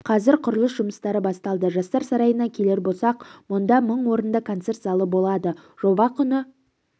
қазір құрылыс жұмыстары басталды жастар сарайына келер болсақ мұнда мың орынды концерт залы болады жоба құны